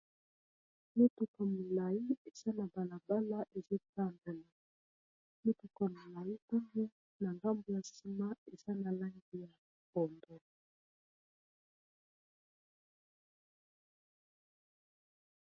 mituka molai eza na balabala ezotambona mituko molaia na ndambo ya nsima eza na langi ya bombo